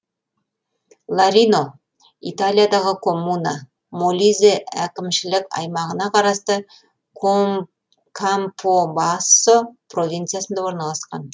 ларино италиядағы коммуна молизе әкімшілік аймағына қарасты кампобассо провинциясында орналасқан